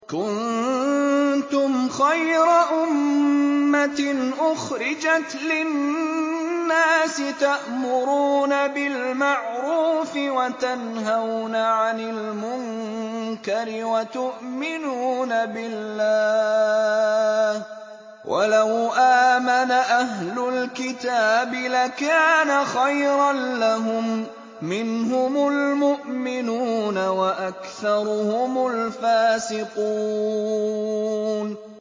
كُنتُمْ خَيْرَ أُمَّةٍ أُخْرِجَتْ لِلنَّاسِ تَأْمُرُونَ بِالْمَعْرُوفِ وَتَنْهَوْنَ عَنِ الْمُنكَرِ وَتُؤْمِنُونَ بِاللَّهِ ۗ وَلَوْ آمَنَ أَهْلُ الْكِتَابِ لَكَانَ خَيْرًا لَّهُم ۚ مِّنْهُمُ الْمُؤْمِنُونَ وَأَكْثَرُهُمُ الْفَاسِقُونَ